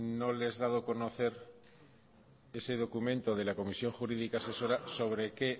no les da a conocer ese documento de la comisión jurídica asesora sobre qué